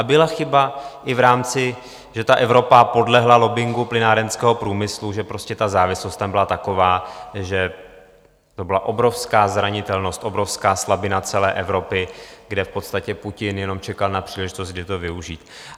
A byla chyba i v rámci... že ta Evropa podlehla lobbingu plynárenského průmyslu, že prostě ta závislost tam byla taková, že to byla obrovská zranitelnost, obrovská slabina celé Evropy, kde v podstatě Putin jen čekal na příležitost, kdy to využít.